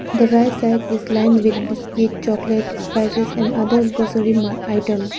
the right side is lined with biscuit chocolate spices and other grocery mar item.